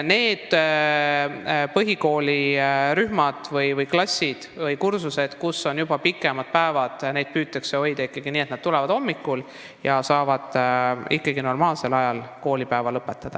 Põhikooliklassides, kus on juba pikemad päevad, püütakse saavutada seda, et lapsed tulevad kooli hommikul ja saavad koolipäeva ikkagi normaalsel ajal lõpetada.